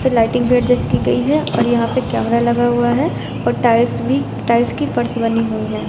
Lighting भी adjust की गई है और यहां पे कैमरा लगा हुआ है और टाइल्स भी टाइल्स की फर्श बनी हुई है।